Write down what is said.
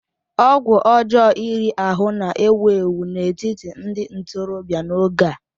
ọgwụ ọjọọ iri ahụ́ na-ewu ewu n'etiti ndị ntorobịa n'oge a